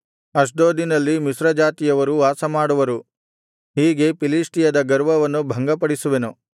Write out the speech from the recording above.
ಅಷ್ಡೋದಿನಲ್ಲಿ ಮಿಶ್ರಜಾತಿಯವರು ವಾಸಮಾಡುವರು ಹೀಗೆ ಫಿಲಿಷ್ಟಿಯದ ಗರ್ವವನ್ನು ಭಂಗಪಡಿಸುವೆನು